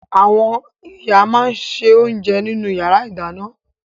Àwọn ìyá máa ń se oúnjẹ nínú ìyàrá-ìdáná.